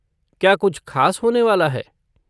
क्या कुछ ख़ास होने वाला है?